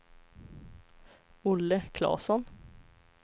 Olle Claesson